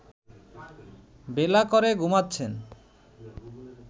বেলা করে ঘুমাচ্ছেন